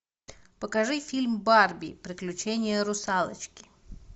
покажи фильм барби приключение русалочки